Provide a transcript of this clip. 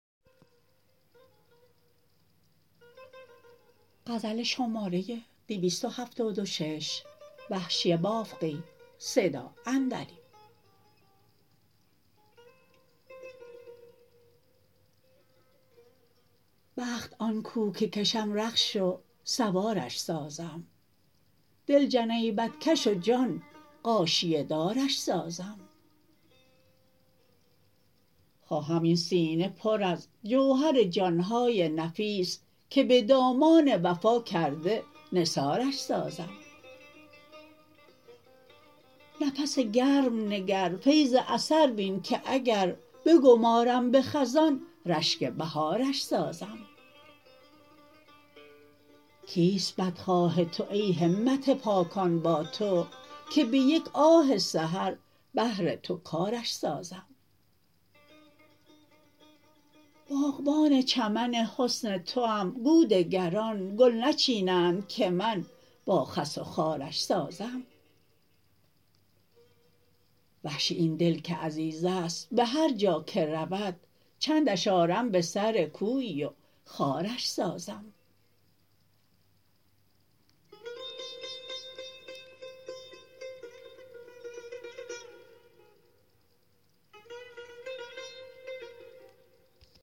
بخت آن کو که کشم رخش و سوارش سازم دل جنیبت کش و جان غاشیه دارش سازم خواهم این سینه پر از جوهر جانهای نفیس که به دامان وفا کرده نثارش سازم نفس گرم نگر فیض اثر بین که اگر بگمارم به خزان رشک بهارش سازم کیست بدخواه تو ای همت پاکان با تو که به یک آه سحر بهر تو کارش سازم باغبان چمن حسن توام گو دگران گل نچینند که من با خس و خارش سازم وحشی این دل که عزیزست به هر جا که رود چندش آرم به سر کویی و خوارش سازم